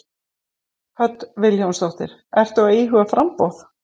Hödd Vilhjálmsdóttir: Ertu að íhuga framboð?